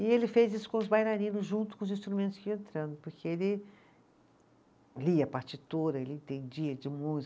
E ele fez isso com os bailarinos, junto com os instrumentos que iam entrando, porque ele lia a partitura, ele entendia de